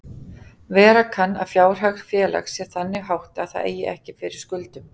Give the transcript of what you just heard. Vera kann að fjárhag félags sé þannig háttað að það eigi ekki fyrir skuldum.